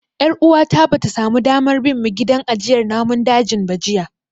Ƴar uwata bata samu damar bin mu gidan ajiyar namun dajin ba jiya.